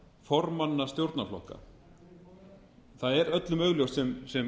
samráð formannastjórnarflokka það er öllum augljóst sem